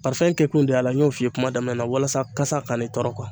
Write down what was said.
kɛ kun de y'a la n y'o f'i ye kuma daminɛ na walasa kasa kana i tɔɔrɔ.